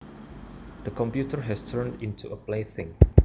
The computer has turned into a plaything